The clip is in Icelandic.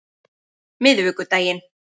miðvikudaginn